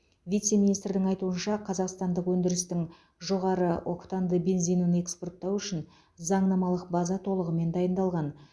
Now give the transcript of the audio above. вице министрдің айтуынша қазақстандық өндірістің жоғары октанды бензинін экспорттау үшін заңнамалық база толығымен дайындалған